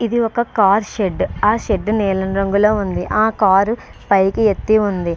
ఇది ఒక car shed ఆ షెడ్ నీలం రంగులో ఉంది ఆ కార్ పైకి ఎత్తి ఉంది.